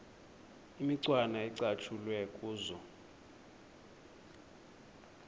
imicwana ecatshulwe kuzo